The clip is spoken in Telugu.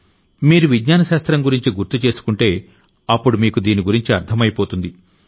మీరు విజ్ఞాన శాస్త్రం గురించి గుర్తు చేసుకుంటే అప్పుడు మీకు దీని గురించి అర్థమైపోతుంది